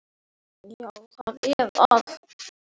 Þín dóttir, Hildur Edda.